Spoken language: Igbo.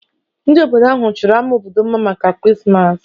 Ndị obodo ahụ chọrọ ámá obodo mma maka Krismas